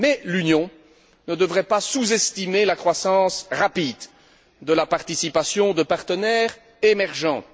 Mais l'Union ne devrait pas sous estimer la croissance rapide de la participation de partenaires émergents.